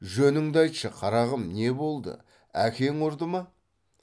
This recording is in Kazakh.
жөніңді айтшы қарағым не болды әкең ұрды ма